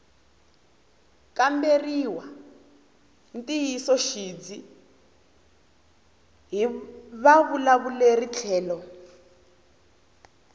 kamberiwa ntiyisoxidzi hi vavulavuri tlhelo